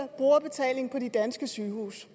brugerbetaling på de danske sygehuse